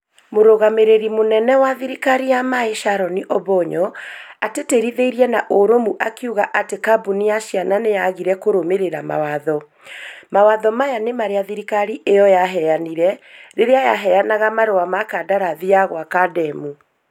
Mũrũgamĩrĩri mũnene wa thirikari ya maĩ Sharoni Obonyo, ĩtĩtĩrithirie na ũrũmũ. Akiuga atĩ kambuni ya caina nĩ yaagire kũrũmĩrĩra mawatho. Mawatho maya nĩ marĩa thirikari ĩyo yaheanire rĩrĩa yaheanaga marũa ma kadarathi ya gwaka ndema.